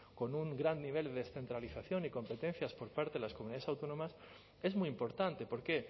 con un gran nivel de descentralización y competencias por parte de las comunidades autónomas es muy importante por qué